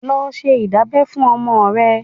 Lọ ṣe ìdábẹ́ fún ọmọ rẹ.